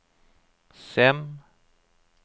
Sem